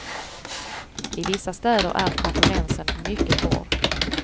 I vissa städer är konkurrensen mycket hård.